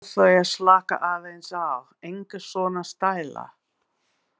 Bað þau að slaka aðeins á, enga svona stæla!